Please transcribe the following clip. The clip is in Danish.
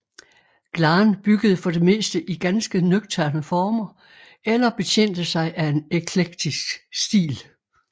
Glahn byggede for det meste i ganske nøgterne former eller betjente sig af en eklektisk stil